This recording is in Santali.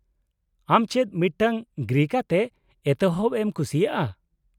-ᱟᱢ ᱪᱮᱫ ᱢᱤᱫᱴᱟᱝ ᱜᱨᱤᱝᱠ ᱟᱛᱮ ᱮᱛᱚᱦᱚᱵ ᱮᱢ ᱠᱩᱥᱤᱭᱟᱜᱼᱟ ?